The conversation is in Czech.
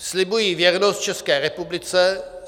"Slibuji věrnost České republice.